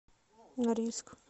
норильск